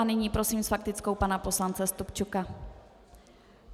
A nyní prosím s faktickou pana poslance Stupčuka.